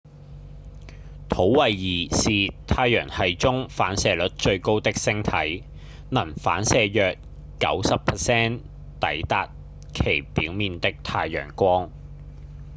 土衛二是太陽系中反射率最高的星體能反射約 90% 抵達其表面的太陽光